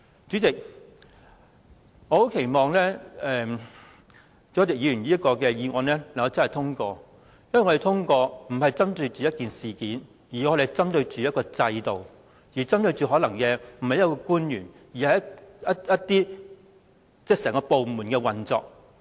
主席，我很期望朱凱廸議員這項議案獲得通過，因為我們不是針對某一事件，而是針對制度；不是針對某位官員，而是着眼整個部門的運作。